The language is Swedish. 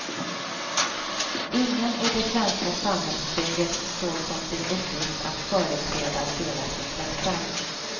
Ingen i det svenska samhällsbygget såg som sin uppgift att företräda deras intressen.